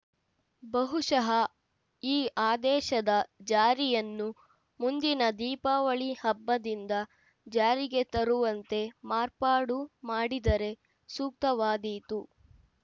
ಬಹುಶಃ ಈ ಆದೇಶದ ಜಾರಿಯನ್ನು ಮುಂದಿನ ದೀಪಾವಳಿ ಹಬ್ಬದಿಂದ ಜಾರಿಗೆ ತರುವಂತೆ ಮಾರ್ಪಾಡು ಮಾಡಿದರೆ ಸೂಕ್ತವಾದೀತು